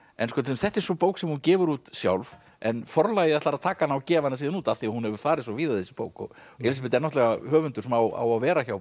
þetta er sú bók sem hún gefur út sjálf en Forlagið ætlar að taka hana og gefa hana síðan út af því að hún hefur farið svo víða þessi bók Elísabet er höfundur sem á að vera hjá